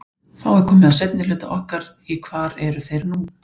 Þá er komið að seinni hluta okkar í hvar eru þeir nú?